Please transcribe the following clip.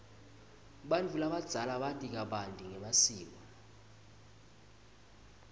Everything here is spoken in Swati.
bantfu labadzala bati kabanti ngemasiko